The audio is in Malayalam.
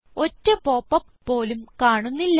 ഒറ്റ പോപ്പപ്പ് പോലും കാണുന്നില്ല